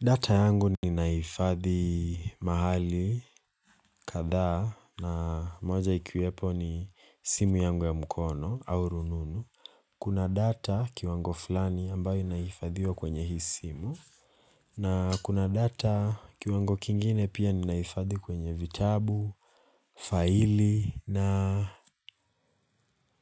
Data yangu ninahifadhi mahali kadhaa na moja ikiwepo ni simu yangu ya mkono au rununu Kuna data kiwango fulani ambayo inaifadhiwa kwenye hii simu na kuna data kiwango kingine pia ninahifadhi kwenye vitabu faili na